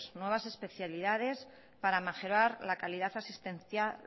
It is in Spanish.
nuevas especialidades para mejorar la calidad asistencial